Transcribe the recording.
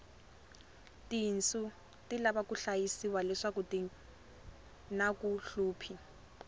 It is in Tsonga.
tinsu ti lava ku hlayisiwa leswaku tinaku hluphi